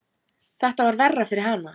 Þetta var verra fyrir hana.